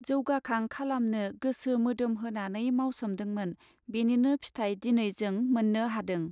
जवगाकांग खालामनो गोसो मोदोम होनानै मावसोमदोंमोन बेनिनो फिथाइ दिनै जों मोननो हादों.